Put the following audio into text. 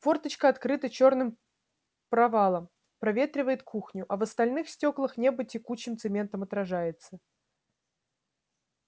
форточка открыта чёрным провалом проветривает кухню а в остальных стёклах небо текучим цементом отражается